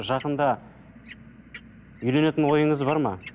жақында үйленетін ойыңыз бар ма